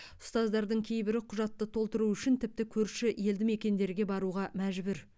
ұстаздардың кейбірі құжатты толтыру үшін тіпті көрші елдімекендерге баруға мәжбүр